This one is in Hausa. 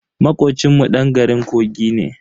Makocin mu dan garin kogi ne.